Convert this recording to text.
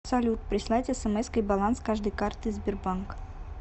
салют прислать смской баланс каждой карты сбербанк